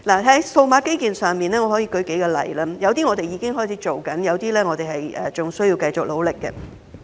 在數碼基建方面我可以舉數個例子，有些我們已開展，有些則仍須繼續努力。